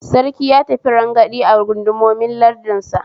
Sarki ya tafi rangadi a gundumomin lardinsa